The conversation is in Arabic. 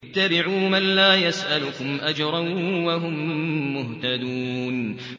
اتَّبِعُوا مَن لَّا يَسْأَلُكُمْ أَجْرًا وَهُم مُّهْتَدُونَ